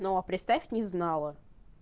но представь не знала